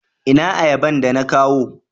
ina ayaban da na kawo?